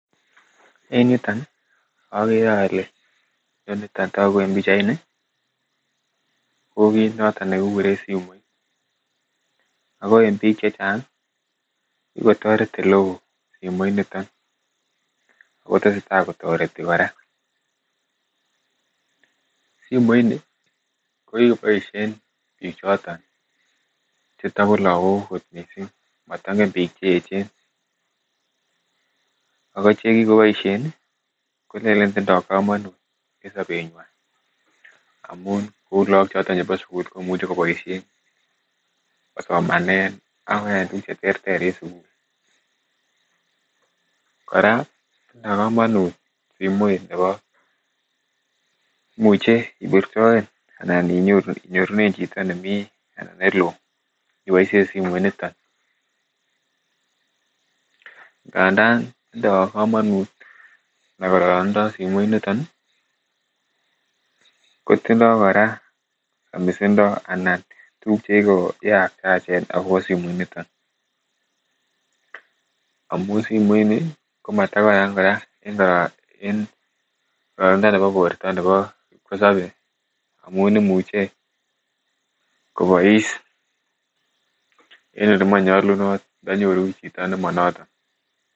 En yuton ih okere ole noniton togu en pichait niton ih ko kit noton nekikuren simoit ako en biik chechang kikotoret elewoo simoit niton ako tesetaa kotoreti kora. Simoit ni kokiboisien biik choton chetokolagok kot missing motengen biik cheechen ako chekikoboisien ih kolenen tindoo komonut en sobetnywan amun kou lagok choton chebo sugul komuche koboisien kosomanen akoyaen tuguk cheterter en sugul. Kora tindoo komonut simoit nebo imuche ibirtoen anan inyorunen chito nemii anan yeloo iboisien simoit niton. Ngandan tindoo komut kororonindo simoit niton ih kotindoo kora somisindo anan tuguk chekikoyachen akobo simoit niton amun simoit ni komatakaran kora en kororonindo nebo borto nebo kipkosobe amun imuche kobois en olemonyolunot ndonyoru chito nemonoto